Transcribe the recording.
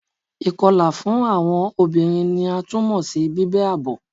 Ikọla fun awọn obinrin ni a tun mọ si bibẹ abo